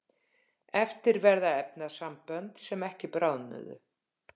eftir verða efnasambönd sem ekki bráðnuðu